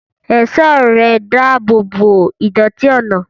Ẹ̀ṣọ́ ẹ̀rẹ̀ ń dáàbò bo ìdọ̀tí ọ̀nà.